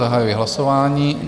Zahajuji hlasování.